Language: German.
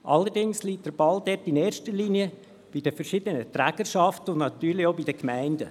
Allerdings liegt der Ball dort in erster Linie bei den verschiedenen Trägerschaften und natürlich auch bei den Gemeinden.